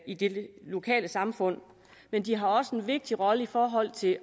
i det lokale samfund men de har også en vigtig rolle i forhold til